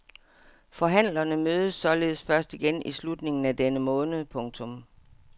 Forhandlerne mødes således først igen i slutningen af denne måned. punktum